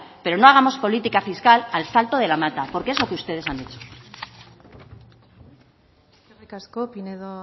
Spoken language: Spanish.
pero no hagamos política fiscal al salto de la mata porque es lo que ustedes han hecho eskerrik asko pinedo